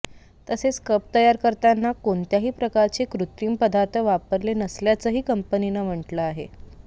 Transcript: तसेच कप तयार करताना कोणत्याही प्रकारचे कृत्रिम पदार्थ वापरले नसल्याचंही कंपनीनं म्हटलं आहे